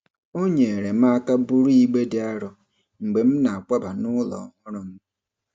O nyeere m aka buru igbe dị arọ mgbe m na-akwaba n'ụlọ ọhụrụ m.